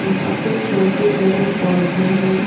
यहां पे छोटे-बड़े पौधे हैं।